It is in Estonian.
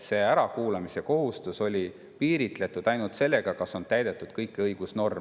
See ärakuulamise kohustus on olnud piiritletud ainult sellega, kas on täidetud kõiki õigusnorme.